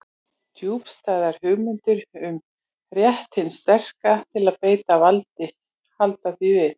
Djúpstæðar hugmyndir um rétt hins sterka til að beita valdi halda því við.